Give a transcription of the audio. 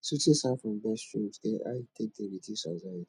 soothing sound from birds streams get how e take dey reduce anxiety